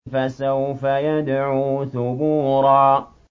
فَسَوْفَ يَدْعُو ثُبُورًا